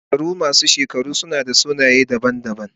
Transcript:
Shekaru masu shekaru suna da sunaye daban-daban.